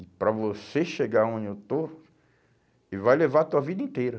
E para você chegar onde eu estou, e vai levar a sua vida inteira.